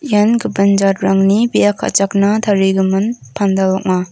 ian gipin jatrangni bia ka·chakna tarigimin pandal ong·a.